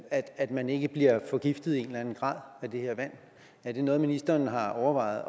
at man ikke bliver forgiftet i en eller anden grad af det her vand er det noget ministeren har overvejet